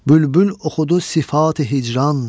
Bülbül oxudu sifati hicran.